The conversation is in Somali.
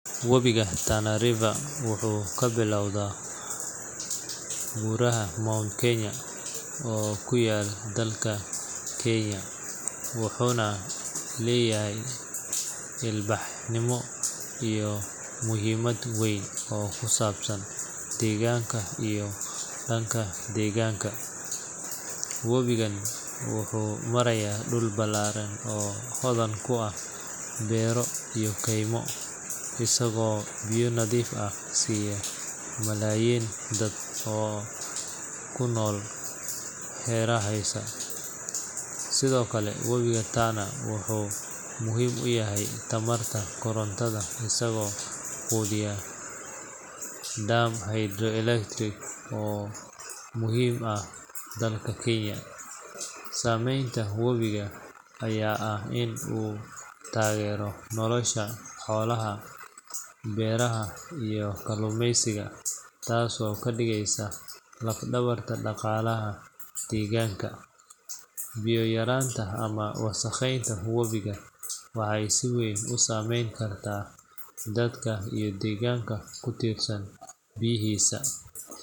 Webiga Tana wuxuu ka bilaabmaa buuraha Mount Kenya oo ku yaalla dalka Kenya, wuxuuna leeyahay ilbaxnimo iyo muhiimad weyn oo ku saabsan deegaanka iyo dadka deegaanka. Webigan wuxuu maraa dhul ballaaran oo hodan ku ah beero iyo keymo, isagoo biyo nadiif ah siinaya malaayiin dad ah oo ku nool hareeraha. Sidoo kale, webiga Tana wuxuu muhiim u yahay tamarta korontada isagoo quudiya dam hydroelectric oo muhiim ah dalka Kenya. Saameynta webiga ayaa ah in uu taageero nolosha xoolaha, beeraha, iyo kalluumaysiga, taas oo ka dhigaysa laf-dhabarta dhaqaalaha deegaanka. Biyo yaraanta ama wasakheynta webiga waxay si weyn u saameyn kartaa dadka iyo deegaanka ku tiirsan biyihiisa.